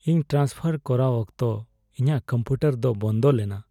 ᱤᱧ ᱴᱷᱟᱱᱥᱯᱷᱟᱨ ᱠᱚᱨᱟᱣ ᱚᱠᱛᱚ ᱤᱧᱟᱹᱜ ᱠᱚᱢᱯᱤᱭᱩᱴᱟᱨ ᱫᱚ ᱵᱚᱱᱫᱚ ᱞᱮᱱᱟ ᱾